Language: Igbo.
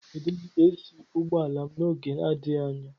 Aga m edozi AC ụgbọ ala m n'oge adịghị anya.